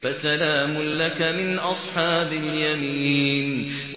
فَسَلَامٌ لَّكَ مِنْ أَصْحَابِ الْيَمِينِ